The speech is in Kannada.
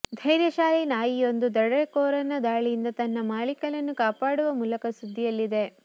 ಧೈರ್ಯಶಾಲಿ ನಾಯಿಯೊಂದು ದರೋಡೆಕೋರನ ದಾಳಿಯಿಂದ ತನ್ನ ಮಾಲೀಕಳನ್ನು ಕಾಪಾಡುವ ಮೂಲಕ ಸುದ್ದಿಯಲ್ಲಿದೆ